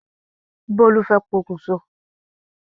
Bólú fẹ́ pokùn so.